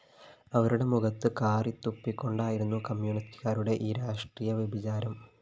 അവരുടെ മുഖത്ത് കാറിത്തുപ്പിക്കൊണ്ടായിരുന്നു കമ്മ്യൂണിസ്റ്റുകാരുടെ ഈ രാഷ്ട്രീയ വ്യഭിചാരം